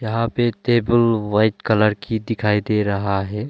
यहां पे table white colour की दिखाई दे रहा है।